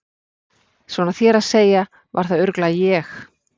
Svona þér að segja var það örugglega ég